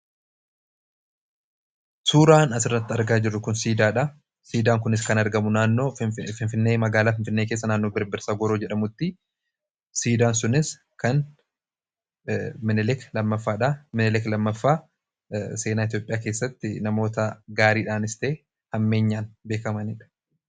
suuraan asirratti argaa jiru kun siidaa dha siidaan kunis kan argamu naannoo Finfinnee magaalaa fiinfinnee keessa naanoo birbirsa gooroo jedhamutti siidaan sunis kan minelik lammaffaa seenaa itiyoopiyaa keessatti namoota gaariidhaanis ta'ee hammeenyaan beekamaniidha